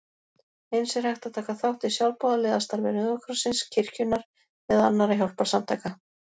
Eins er hægt að taka þátt í sjálfboðaliðastarfi Rauða krossins, kirkjunnar eða annarra hjálparsamtaka.